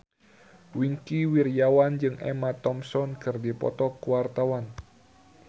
Wingky Wiryawan jeung Emma Thompson keur dipoto ku wartawan